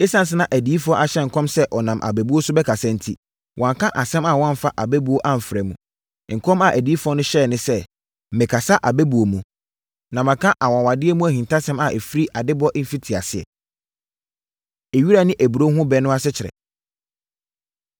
Esiane sɛ na adiyifoɔ ahyɛ nkɔm sɛ ɔnam abɛbuo so bɛkasa enti, wanka asɛm a wamfa abɛbuo amfra mu. Nkɔm a adiyifoɔ no hyɛeɛ ne sɛ, “Mɛkasa abɛbuo mu, na maka anwanwadeɛ mu ahintasɛm a ɛfiri adebɔ mfitiaseɛ.” Ewira Ne Aburoo Ho Ɛbɛ No Asekyerɛ